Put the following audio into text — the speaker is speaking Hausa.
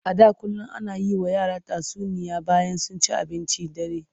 A da kullum ana yi wa yara tatsuniya bayan sun ci abincin dare.